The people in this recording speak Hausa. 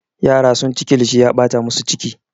Yara sunci kilishi ya ɓata musu ciki.